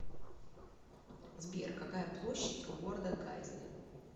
сбер какая площадь у города гайзли